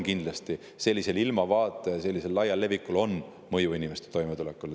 Kindlasti on sellise ilmavaate laial levikul mõju inimeste toimetulekule.